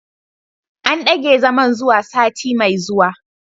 An dage zaman zuwa sati mai zuwa